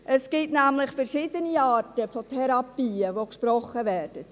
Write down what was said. Es gibt nämlich verschiedene Arten von Therapien, die gesprochen werden.